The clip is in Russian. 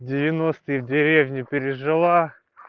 девяностые в деревне пережила